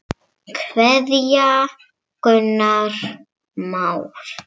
Kveðja, Gunnar Már.